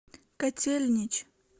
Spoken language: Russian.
котельнич